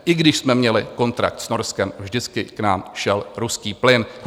I když jsme měli kontrakt s Norskem, vždycky k nám šel ruský plyn.